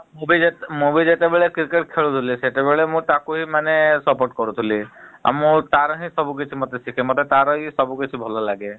ମୁଁ ବି ମୁଁ ବି ଯେତେବେଳେ cricket ଖେଳୁଥିଲି ସେତେବେଳେ ମୁଁ ତାକୁ ହିଁ ମାନେ support କରୁଥିଲି । ଆଉ ମୁଁ ତାର ହିଁ ସବୁ କିଛି ମତେ ତାର ହିଁ ସବୁ କିଛି ଭଲ ଲାଗେ ।